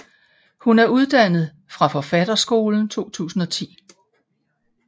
Hun er uddannet fra Forfatterskolen 2010